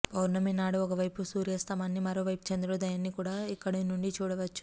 పౌర్ణమి నాడు ఒక వైపు సూర్తాస్తమాన్ని మరో వైపు చంద్రోదయాన్ని కూడా ఇక్కడి నుండి చూడవచ్చు